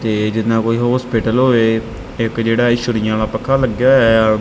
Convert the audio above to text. ਤੇ ਜਿਹਨਾਂ ਕੋਈ ਹੌਸਪੀਟਲ ਹੋਵੇ ਇੱਕ ਜਿਹੜਾ ਇਹ ਛੁਰੀਆਂ ਆਲ਼ਾ ਪੱਖਾ ਲੱਗਿਆ ਹੋਇਆ ਏ ਆ।